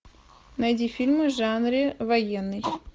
найди фильмы в жанре военный